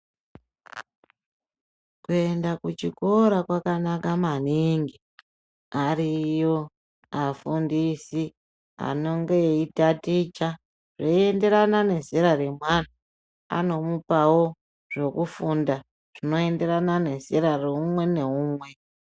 Kuenda kuchikora kwakanaka maningi. Ariyo afundisi anonge eitaticha zveienderana nezera remwana. Anomupawo zvekufunda zvinoenderana nezera reumwe neumwe.